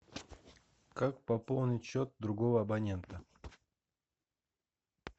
как пополнить счет другого абонента